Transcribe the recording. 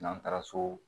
N'an taara so